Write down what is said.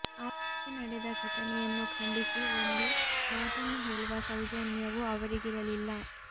ಆಗ ನಡೆದ ಘಟನೆಯನ್ನು ಖಂಡಿಸಿ ಒಂದು ಮಾತನ್ನು ಹೇಳುವ ಸೌಜನ್ಯವೂ ಅವರಿಗಿರಲಿಲ್ಲ